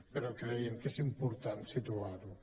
però creiem que és important situar ho